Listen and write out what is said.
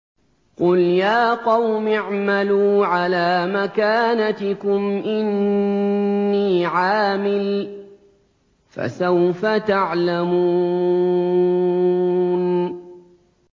قُلْ يَا قَوْمِ اعْمَلُوا عَلَىٰ مَكَانَتِكُمْ إِنِّي عَامِلٌ ۖ فَسَوْفَ تَعْلَمُونَ